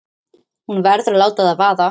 Hún verður að láta það vaða.